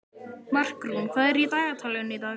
Markrún, hvað er í dagatalinu í dag?